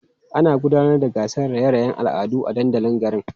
Ana gudanar da gasar raye-rayen al'adu a dandalin garin.